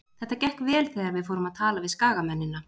Þetta gekk vel þegar við fórum að tala við skagamennina.